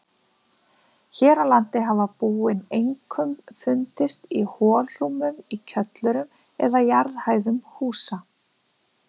Hér á landi hafa búin einkum fundist í holrúmum í kjöllurum eða jarðhæðum húsa.